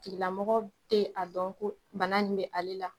Tigilamɔgɔ tɛ a dɔn ko bana nin bɛ ale la.